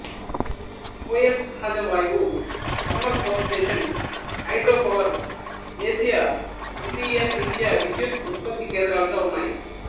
కోయల్ సహజ వాయువు thermal power station hydro power దేశీయ ద్వీతీయ తృతీయ విద్యుత్తు ఉత్పత్తి కేంద్రాలుగా ఉన్నాయి